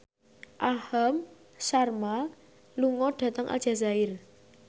Aham Sharma lunga dhateng Aljazair